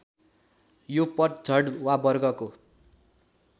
यो पतझड वा वर्गको